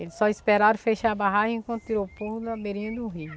Eles só esperaram fechar a barragem, quando tirou o povo da beirinha do rio.